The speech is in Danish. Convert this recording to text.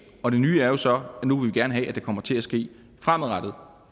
og det nye er så at nu vil vi gerne have at det kommer til at ske fremadrettet